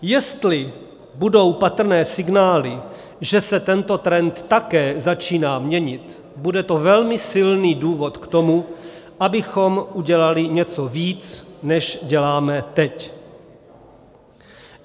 Jestli budou patrné signály, že se tento trend také začíná měnit, bude to velmi silný důvod k tomu, abychom udělali něco víc, než děláme teď.